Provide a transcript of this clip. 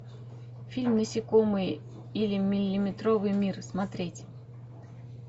фильм насекомые или миллиметровый мир смотреть